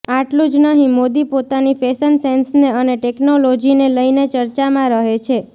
આટલું જ નહીં મોદી પોતાની ફેશન સેન્સને અને ટેકનોલોજીને લઈને ચર્ચામાં રહે છે